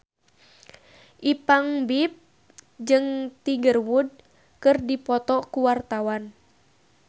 Ipank BIP jeung Tiger Wood keur dipoto ku wartawan